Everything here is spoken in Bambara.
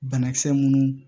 Banakisɛ minnu